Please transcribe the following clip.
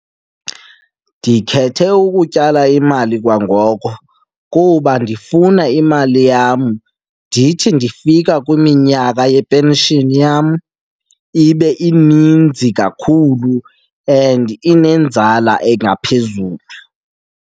Ndikhethe ukutyala imali kwangoko kuba ndifuna imali yam ndithi ndifika kwiminyaka yepenshini yam, ibe ininzi kakhulu and inenzala engaphezulu.